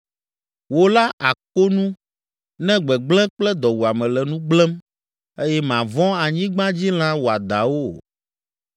Wò la àko nu ne gbegblẽ kple dɔwuame le nu gblẽm eye màvɔ̃ anyigbadzilã wɔadãwo o.